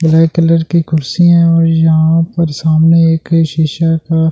black colour की कुर्सी हैऔर यहां पर सामने एक शीशा का--